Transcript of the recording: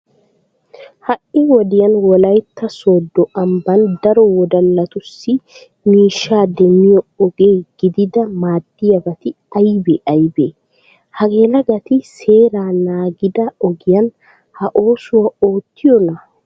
Ha"i wodiyan wolaytta sooddo ambban daro wodallatussi miishsha demmiyo oge gididi maaddiyabati aybee aybee? Ha yelagati seeraa naagida ogiyan ha oosuwa oottiyonaa?